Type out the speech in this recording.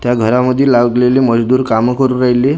त् या घरामधी लागलेली मजदूर कामं करून राहिली.